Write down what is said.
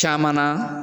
Caman na